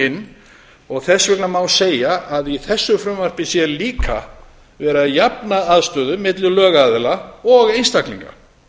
inn og þess vegna má segja að í þessu frumvarpi sé líka verið að jafna aðstöðu milli lögaðila og einstaklinga